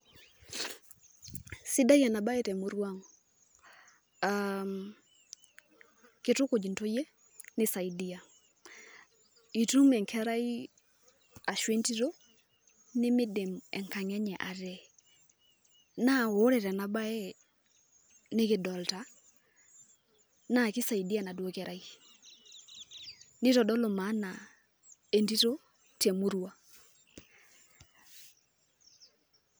Sidai enabae temurua ang',kitukuj intoyie nisaidia. Itum enkerai ashu entito, nikidim enkang' enye ate. Na ore tenabae nikidolta, naa kisaidia enaduo kerai. Nitodolu maana entito temurua.